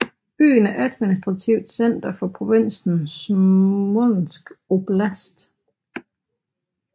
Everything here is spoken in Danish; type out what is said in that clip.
Byen er adminstrativt center for provinsen Smolensk oblast